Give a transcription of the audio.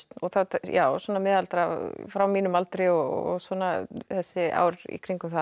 já miðaldra frá mínum aldri og svona þessi ár í kringum það